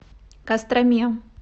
костроме